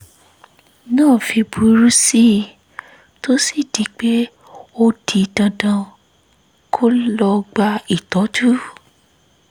náà fi burú sí i tó sì di pé ó di dandan kó lọ gba ìtọ́jú